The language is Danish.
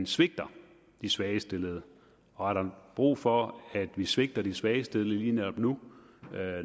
svigter de svagest stillede og er der brug for at vi svigter de svagest stillede lige netop nu